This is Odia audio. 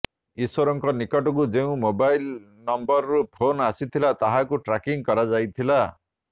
ଈଶ୍ବରଙ୍କ ନିକଟକୁ ଯେଉଁ ମୋବାଇଲ ନମ୍ବରରୁ ଫୋନ ଆସିଥିଲା ତାହାକୁ ଟ୍ରାକିଂ କରାଯାଇଥିଲା